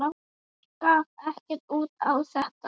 Gaf ekkert út á þetta.